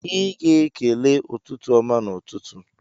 Ị ga-ekele "ụtụtụ ọma" n'ụtụtụ.